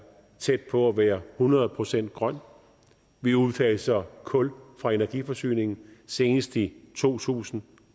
tæt på at være hundrede procent grøn vi udfaser kul fra energiforsyningen senest i to tusind